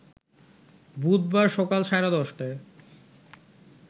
বুধবার সকাল সাড়ে ১০টায়